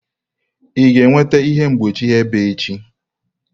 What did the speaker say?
Ị ga-enweta ihe mgbochi ebe echi?